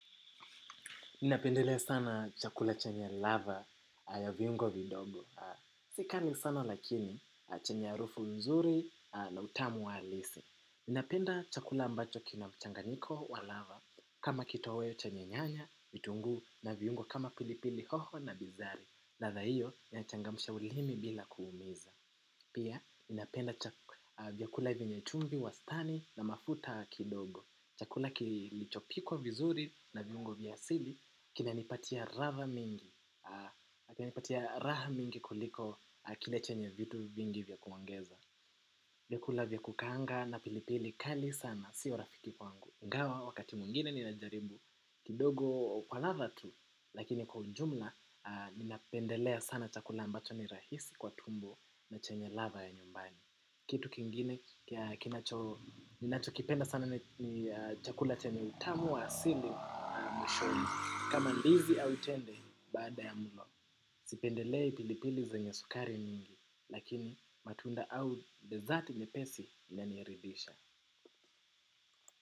Ninapendelea sana chakula chanye ladha ya viungo vidogo. Si kali sana lakini chenye harufu nzuri na utamu wa halisi. Ninapenda chakula ambacho kina mchanganiko wa lava. Kama kitoweo chenye nyanya, vitunguu na viungo kama pilipili hoho na bizari. Ladha hiyo, inachangamsha ulimi bila kuumiza. Pia, ninapenda vyakula vyenye chumvi wastani na mafuta kidogo. Chakula kilichopikwa vizuri na viungo vya asili kinanipatia raha mingi. Kinanipatia raha mingi kuliko kile chenye vitu vingi vya kuongeza vyakula vya kukaanga na pilipili kali sana sio rafiki kwangu iNgawa wakati mwingine ninajaribu kidogo kwa ladha tu. Lakini kwa ujumla ninapendelea sana chakula ambacho ni rahisi kwa tumbo na chenye ladha ya nyumbani. Kitu kingine kia kinacho, ninachokipenda sana ni chakula chenye utamu wa asili mwishoni. Kama ndizi au tembe baada ya mlo. Sipendelei pilipili zenye sukari nyingi. Lakini matunda au bezati nyepesi inaniridhisha.